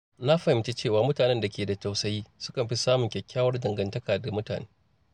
Na fahimci cewa mutanen da ke da tausayi sukan fi samun kyakkyawar dangantaka da mutane.